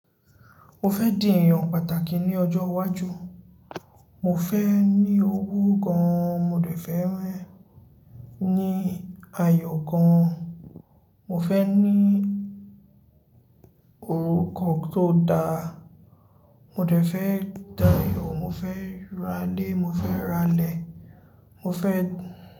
Mo fẹ́ di èèyàn pàtàkì ní ọjọ́ iwájú. Mo fẹ́ ní owó gan-an, mo dẹ̀ fẹ́ ní ayọ̀ gan-an, mo fẹ́ ní orúkọ tó da. Mo dẹ̀ fẹ́ da yò, mo fẹ́ ráálè, mo fẹ́ ralẹ̀, mo fẹ́